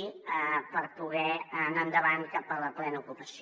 i per poder anar en·davant cap a la plena ocupació